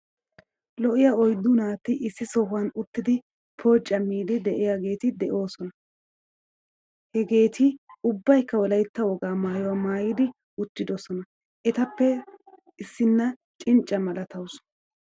Lo'iya oyddu naati issi sohuwan uttidi pooccamiyddi de'iyaageeti de'oosonaa. Hegeti ubbaykka wolaytta woga maayuwaa maayidi uttidosona. Eetappe issinna cinccaa malataawusu.